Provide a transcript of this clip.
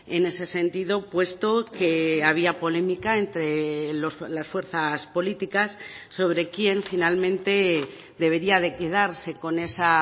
en ese sentido puesto que había polémica entre las fuerzas políticas sobre quién finalmente debería de quedarse con esa